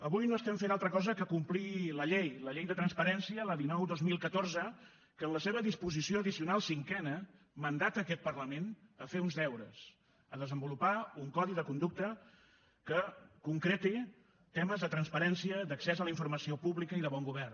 avui no estem fent altra cosa que complir la llei la llei de transparència la dinou dos mil catorze que en la seva disposició addicional cinquena mandata a aquest parlament fer uns deures desenvolupar un codi de conducta que concreti temes de transparència d’accés a la informació pública i de bon govern